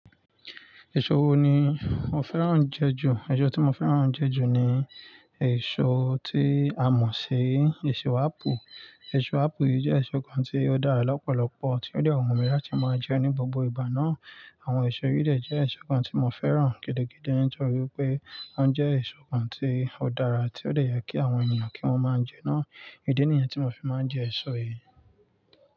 Èso wo ni mo fẹ́ràn jẹ ju? Èso tí mo fẹ́ràn jẹ ju ni èso tí a mọ̀ sí èso ápù. Èso ápù yìí jẹ́ èso kan tí ó dára lọ́pọ̀lọpọ̀ tí ó de wun mi latí màá jẹ ní gbogbo ìgbà náà. Àwọn èso yìí jẹ́ èso kan tí mo fẹ́ràn gidi gidi torí pé wọ́n jẹ́ èso kan tí ó dára tí ó yẹ kí àwọn ènìyàn kí wọ́n máa jẹ náà. Ìdí nìyẹn tí mo fi máa ń jẹ èso yìí.